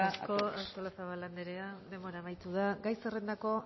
preocupa a todos eskerrik asko artolazabal anderea denbora amaitu da gai zerrendako